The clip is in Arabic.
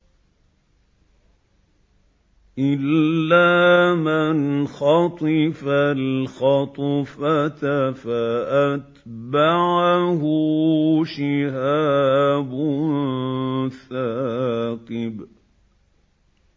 إِلَّا مَنْ خَطِفَ الْخَطْفَةَ فَأَتْبَعَهُ شِهَابٌ ثَاقِبٌ